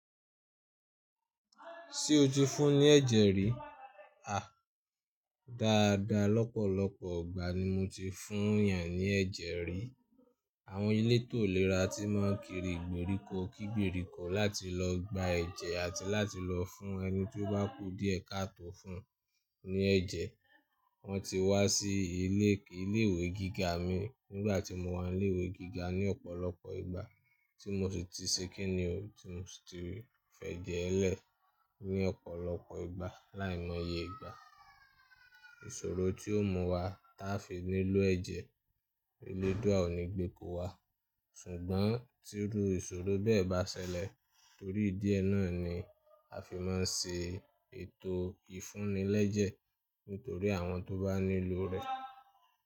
Ṣé o ti fún ní ẹ̀jẹ̀ rí? A! Dáadáa, lọ́pọ̀lọpọ̀ igbà ni mo ti fún yàn ní ẹ̀jẹ̀ rí. Àwọn elétò ìlera tí má ń kiri ìgbèríko kígberiko láti lọ gba ẹ̀jẹ̀ àti láti lọ fún ẹni tí ó bá kú díẹ̀ ká tó fún un ní ẹ̀jẹ̀. Wọ́n ti wá sí ilé ìwé gíga mi nígbà tí mo wà ní ilé ìwé gíga ní ọ̀pọ̀lọpọ̀ ìgbà tí mo sì ti ṣe kínní òun tí mo sì ti fẹ́ jẹ ẹ́ lẹ̀ ní ọ̀pọ̀lọpọ̀ ìgbà láì mọye ìgbà. Ìṣòro tí ó mú wa táa fi nílò ẹ̀jẹ̀, eledua ò ní gbé kó wa ṣùgbọ́n tí rú ìṣòro bẹ́ẹ̀ bá ṣẹlẹ̀ torí ìdí ẹ náà ni a fi má ń ṣe ètò ìfúnilẹ́jẹ̀ nítorí àwọn tó bá nílò rẹ̀.